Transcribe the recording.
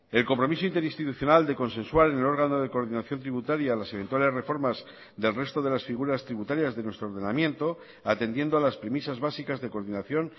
el compromiso interinstitucional de consensuar el órgano de coordinación tributaria a las eventuales reformas del resto de las figuras tributarias de nuestro ordenamiento atendiendo a las premisas básicas de coordinación